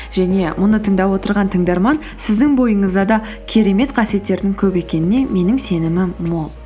және мұны тыңдап отырған тыңдарман сіздің бойыңызда да керемет қасиеттердің көп екеніне менің сенімім мол